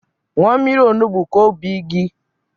Ṅụọ mmiri onugbu ka obi mgbu gi kwụsị.